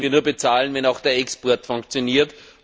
Das können wir nur bezahlen, wenn auch der Export funktioniert.